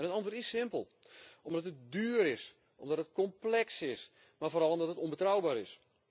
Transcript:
Het antwoord is simpel omdat het duur is, omdat het complex is, maar vooral omdat het onbetrouwbaar is.